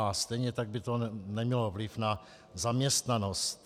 A stejně tak by to nemělo vliv na zaměstnanost.